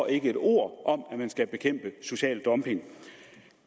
ikke et ord om at man skal bekæmpe social dumping